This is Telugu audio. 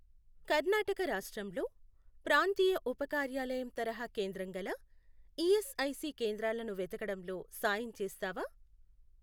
కర్ణాటక రాష్ట్రంలో ప్రాంతీయ ఉపకార్యాలయం తరహా కేంద్రం గల ఈఎస్ఐసి కేంద్రాలను వెతకడంలో సాయం చేస్తావా?